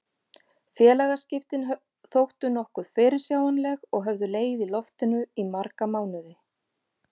Félagaskiptin þóttu nokkuð fyrirsjáanleg og höfðu legið í loftinu í marga mánuði.